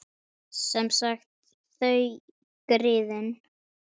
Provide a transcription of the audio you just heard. Sem sagt: þau, griðin.